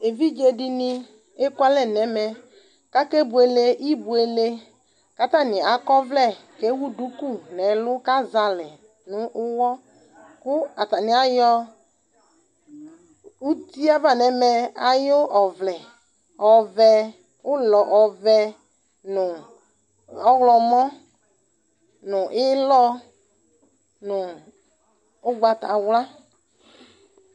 Evidze dini ekualɛ nɛmɛ kakebuele ibueleKatani akɔ ɔvlɛ , kewu duku nɛlʋ kazalɛ nʋ uwɔ kʋ atani ayɔ utiava nɛmɛ ayʋ ɔvlɛ ɔvɛ, ulɔ ɔvɛ, nu ɔɣlɔmɔ, nu ilɔɔ, nu ugbatawla